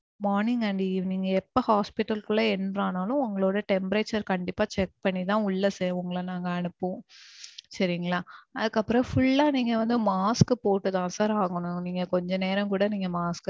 morning and evening. எப்போ hospital குள்ள enter ஆனாலும் உங்களோட temperature கண்டிப்பா check பண்ணி தான் உள்ள உங்கள நாங்க அனுப்புவோம். சரிங்களா. அதுக்கு அப்பறோம் full ஆ நீங்க வந்து mask போட்டுத்தான் sir ஆகணும். நீங்க கொஞ்ச நேரம் கூட நீங்க mask